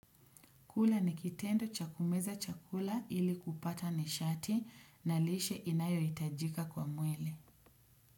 Kula ni kitendo cha kumeza chakula ili kupata nishati na lishe inayohitajika kwa mwili.